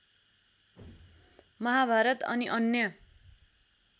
महाभारत अनि अन्य